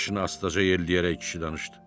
Başını astaca yelləyərək kişi danışdı.